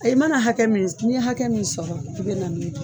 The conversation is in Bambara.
i mana hakɛ min s n'i ye hakɛ min sɔrɔ i bɛ na